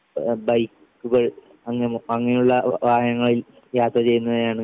ആഹ് ബൈക്കുകൾ അങ്ങെ അങ്ങനെയുള്ള വാഹനങ്ങളിൽ യാത്ര ചെയ്യുന്നതിലാണ്.